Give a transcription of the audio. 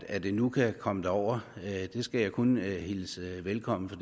at det nu kan komme derover skal jeg kun hilse velkommen for